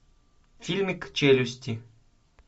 фильмик челюсти